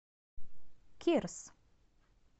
кирс